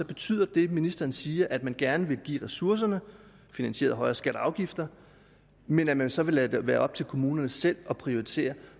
betyder det ministeren siger om at man gerne vil give ressourcerne finansieret af højere skatter og afgifter men at man så vil lade det være op til kommunerne selv at prioritere